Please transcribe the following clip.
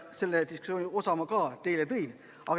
Sellest diskussioonist osa ma juba teie ette tõin.